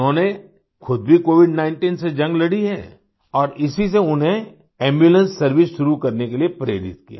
उन्होंने खुद भी COVID19 से जंग लड़ी है और इसी से उन्हें एम्बुलेंस सर्वाइस शुरू करने के लिए प्रेरित किया